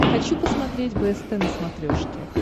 хочу посмотреть бст на смотрешке